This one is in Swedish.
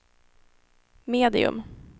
medium